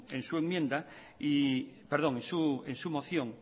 en su moción